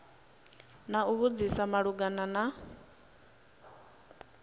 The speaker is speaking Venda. na u vhudzisa malugana na